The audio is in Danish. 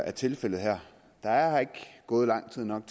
er tilfældet her der er ikke gået lang nok